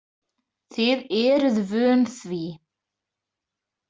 Þið eruð vön því?